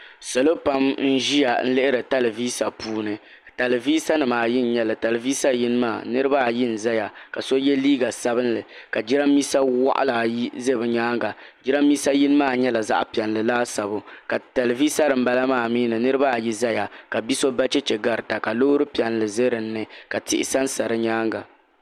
Salo pam n-ʒiya n-lihiri talivisa puuni taliviisanima ayi n-nyɛ li taliviisa yini maa niriba ayi n-zaya ka so ye liiga sabinli ka jirambiisa waɣila ayi ʒe bɛ nyaaŋa jirambiisa yini maa nyɛla zaɣ'piɛlli laasabu ka taliviisa din bala maa mi ni niriba ayi zaya ka bi'so ba cheche garita ka loori piɛlli za dini ka tihi sansa di nyaaŋa.